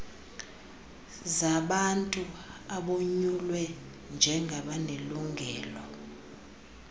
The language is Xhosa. zabantu abonyulwe njengabanelungelo